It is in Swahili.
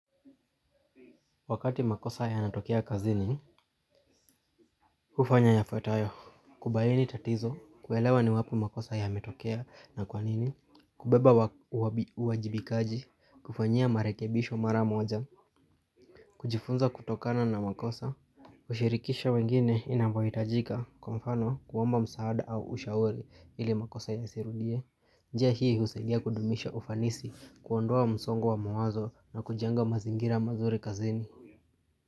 Wakati makosa yanatokea kazini, hufanya yafuatayo, kubaini tatizo, kuelewa ni wapi makosa yametokea na kwanini, kubeba uwajibikaji, kufanyia marekebisho mara moja, kujifunza kutokana na makosa, kushirikisha wengine inavyohitajika, kwa mfano kuomba msaada au ushauri ili makosa yasirudie, njia hii husaidia kudumisha ufanisi, kuondoa msongo wa mawazo na kujenga mazingira mazuri kazini.